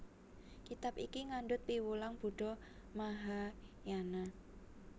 Kitab iki ngandhut piwulang Buddha Mahayana